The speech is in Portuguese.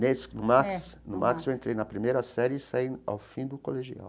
Nesse no Max, no Max eu entrei na primeira série e saí ao fim do colegial.